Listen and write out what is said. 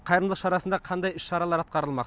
қайырымдылық шарасында қандай іс шаралар атқарылмақ